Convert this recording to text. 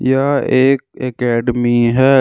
यह एक एकेडमी है।